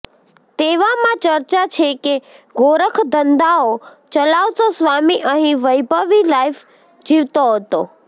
તેવામાં ચર્ચા છેકે ગોરખ ધંધાઓ ચલાવતો સ્વામી અહીં વૈભવી લાઇફ જીવતો હતો